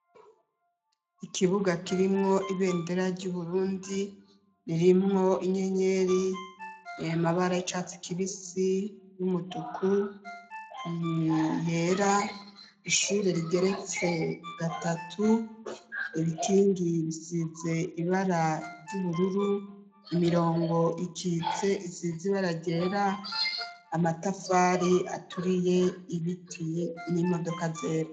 Ikibuga kirimwo ibendera ry'uburundi ririmwo inyenyeri iyamabara icatse kibisi y'umutuku biyera ishuri rigeretse gatatu ibitingi bisize ibara ry'ubururu imirongo ikitse isize ibara gera amatafari aturiye ibiti n'imodoka zera.